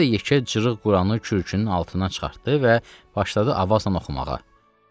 Bu da yekə cırıq Quranı kürküünün altından çıxartdı və başladı avazla oxumağa.